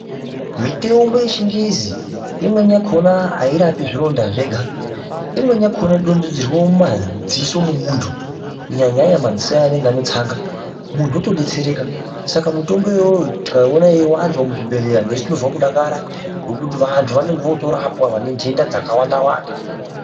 Miteumbo yechingezi imweni yakona airapi zvironda zvega imweni dontedzerwe mumadziso mwemuntu kunyañya nyanya madziso aya anenga ane tsanga muntu otodetsereka saka mutombo iwoyo tikaiwona yechiwanzwa muzvibhedhleranesu tinozwe kudakara nekuti vantu vanenge votorapwa vane ntenda dzakawanda wanda.